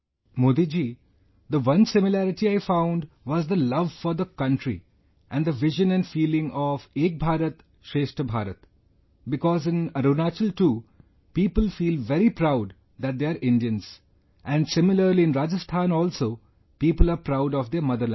Modi ji, the one similarity I found was the love for the country and the vision and feeling of Ek Bharat Shreshtha Bharat, because in Arunachal too people feel very proud that they are Indians and similarly in Rajasthan also people are proud of their mother land